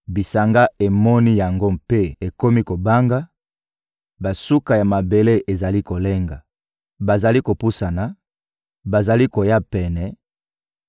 Bisanga emoni yango mpe ekomi kobanga, basuka ya mabele ezali kolenga. Bazali kopusana, bazali koya pene;